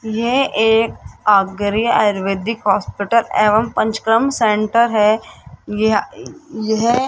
ये एक आयुर्वेदिक हॉस्पिटल एवं पंचकर्म सेंटर है ये यह--